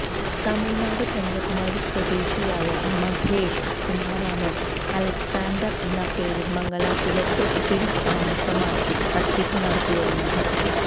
തമിഴ്നാട് കന്യാകുമാരി സ്വദേശിയായ മഹേഷ് കുമാറാണ് അലക്സാണ്ടർ എന്ന പേരിൽ മംഗലാപുരത്ത് സ്ഥിര താമസമാക്കി തട്ടിപ്പു നടത്തി വരുന്നത്